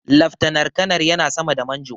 Laftanar kanar yana sama da Manjo.